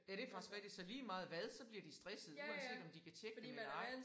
Ja det faktisk rigtigt så lige meget hvad så bliver de stressede uanset om de kan tjekke den eller ej